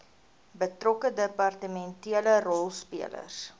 betrokke departementele rolspelers